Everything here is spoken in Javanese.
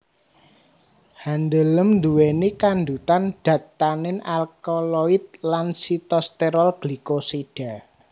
Handeuleum nduwèni kandhutan dat tanin alkaloid lan sitosterol glikosida